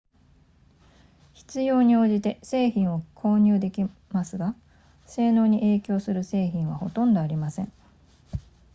必要に応じて製品を購入できますが性能に影響する製品はほとんどありません